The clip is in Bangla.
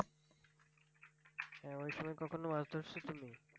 হ্যাঁ ওই সময় কখনো মাছ ধরা শিখেন নি?